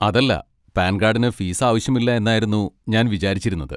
അതല്ല, പാൻ കാഡിന് ഫീസ് ആവശ്യമില്ല എന്നായിരുന്നു ഞാൻ വിചാരിച്ചിരുന്നത്.